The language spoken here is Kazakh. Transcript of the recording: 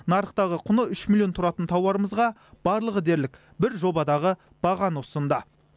нарықтағы құны үш миллион тұратын тауарымызға барлығы дерлік бір жобадағы бағаны ұсынды